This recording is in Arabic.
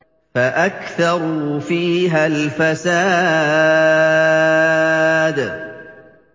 فَأَكْثَرُوا فِيهَا الْفَسَادَ